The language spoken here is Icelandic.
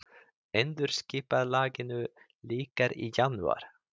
Endurskipulagningu lýkur í janúar